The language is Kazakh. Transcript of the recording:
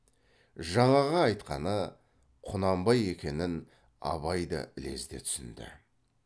жаңағы айтқаны құнанбай екенін абай да ілезде түсінді